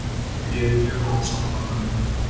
Ég er mjög ósammála Vöndu.